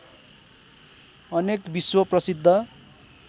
अनेक विश्व प्रसिद्ध